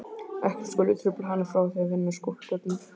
Ekkert skuli trufla hana frá því að vinna að skúlptúrnum.